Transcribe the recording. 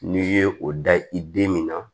N'i ye o da i den min na